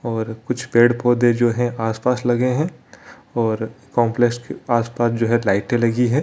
और कुछ पेड़-पौधे जो है आस-पास लगे है और काम्प्लेक्स के पास-पास जो है लाइटे लगी है।